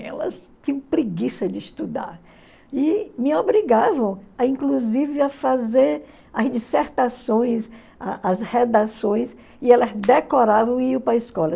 Elas tinham preguiça de estudar e me obrigavam, a inclusive, a fazer as dissertações, as as redações, e elas decoravam e iam para a escola.